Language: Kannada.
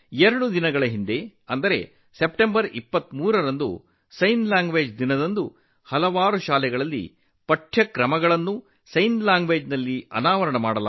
ಎರಡು ದಿನಗಳ ಹಿಂದೆ ಅಂದರೆ ಸೆಪ್ಟಂಬರ್ 23 ರಂದು ಸಂಜ್ಞೆ ಭಾಷೆಯ ದಿನದಂದು ಅನೇಕ ಶಾಲಾ ಕೋರ್ಸ್ಗಳನ್ನು ಸಹ ಸಂಜ್ಞೆ ಭಾಷೆಯಲ್ಲಿ ಪ್ರಾರಂಭಿಸಲಾಗಿದೆ